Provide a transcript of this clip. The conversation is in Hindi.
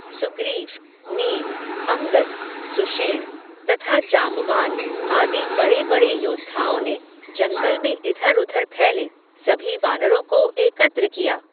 सुग्रीव, नील, अंगद, सुषेण, तथा जांबवान, आदि बड़े बड़े योद्धाओं ने, जंगल में इधर उधर फैले, सभी वानरों को एकत्र किया